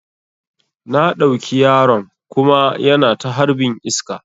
Na ɗauki yaron kuma yana ta harbin iska